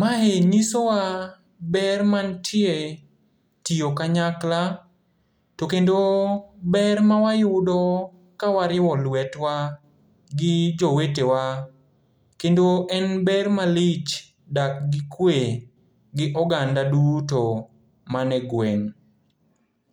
Mae nyisowa ber mantie tiyo kanyakla, to kendo ber mawayudo kawariwo lwetwa gi jowetewa, kendo en ber malich dak gi kwe gi oganda duto mane gweng'.